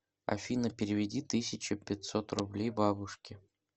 афина переведи тысяча пятьсот рублей бабушке